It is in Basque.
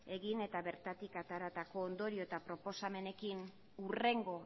egin eta bertatik ateratako ondorio eta proposamenekin hurrengo